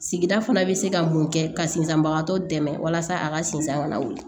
Sigida fana bɛ se ka mun kɛ ka sinsanbagatɔ dɛmɛ walasa a ka sinzan kana wuli